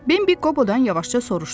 Bembi Qobodan yavaşca soruşdu.